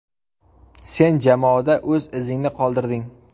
Sen jamoada o‘z izingni qoldirding.